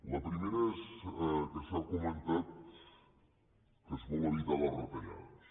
la primera és que s’ha comentat que es vol evitar les retallades